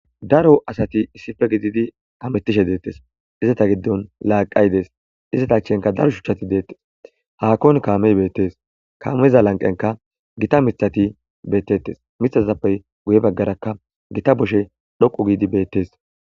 Daro asati issife gididi kamettishe deettes izata giddon laaqaydes izata chenka daro shuchchati deettes haakon kaamey beettes kaameza lanqenka gita mithati beettettes mithasazappey guye baggarakka gita boshe dhoqu giidi beettes.